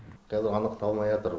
қазір анықталмайатыр